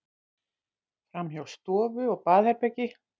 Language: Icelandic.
Framhjá stofu og baðherbergi.